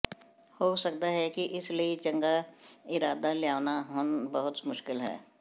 ਹੋ ਸਕਦਾ ਹੈ ਕਿ ਇਸ ਲਈ ਚੰਗਾ ਇਰਾਦਾ ਲਿਆਉਣਾ ਹੁਣ ਬਹੁਤ ਮੁਸ਼ਕਲ ਹੈ